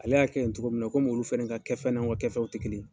Ale y'a kɛ in togo min na, komi olu fɛnɛ ka kɛfɛnw n'anw ka kafɛnw ti kelen ye